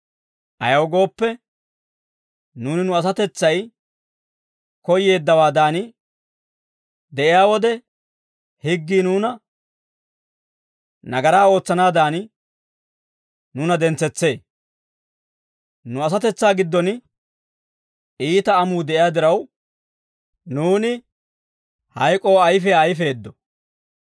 Ayaw gooppe, nuuni nu asatetsay koyyeeddawaadan de'iyaa wode, higgii nuuni nagaraa ootsanaadan, nuuna dentsetsee; nu asatetsaa giddon iita amuu de'iyaa diraw, nuuni hayk'oo ayfiyaa ayfeeddo.